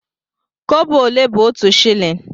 Kobo ole bụ otu shịlịn?